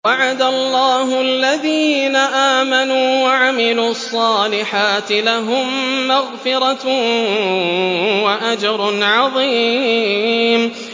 وَعَدَ اللَّهُ الَّذِينَ آمَنُوا وَعَمِلُوا الصَّالِحَاتِ ۙ لَهُم مَّغْفِرَةٌ وَأَجْرٌ عَظِيمٌ